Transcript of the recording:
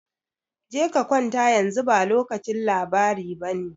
Je ka kwanta, yanzu ba lokacin labari bane.